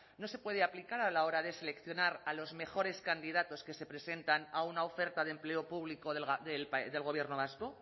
no se puede aplicar a la hora de seleccionar a los mejores candidatos que se presentan a una oferta de empleo público del gobierno vasco